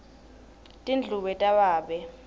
tindlubu tababe